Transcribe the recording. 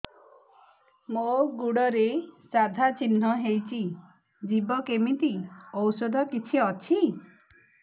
ମୋ ଗୁଡ଼ରେ ସାଧା ଚିହ୍ନ ହେଇଚି ଯିବ କେମିତି ଔଷଧ କିଛି ଅଛି